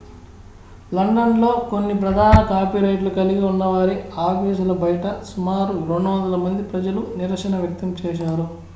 London లో కొన్ని ప్రధాన కాపీరైట్లు కలిగి ఉన్నవారి ఆఫీసుల బయట సుమారు 200 మంది ప్రజలు నిరసన వ్యక్తం చేశారు